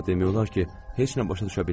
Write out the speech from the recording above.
Amma demək olar ki, heç nə başa düşmədim.